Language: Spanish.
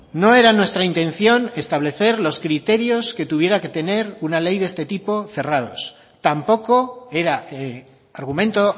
no era nuestra intención establecer los criterios que tuviera que tener una ley de este tipo cerrados tampoco era argumento